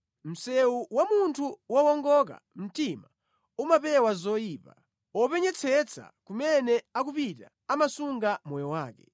Msewu wa munthu wowongoka mtima umapewa zoyipa; wopenyetsetsa kumene akupita amasunga moyo wake.